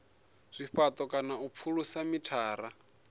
zwifhato kana u pfulusa mithara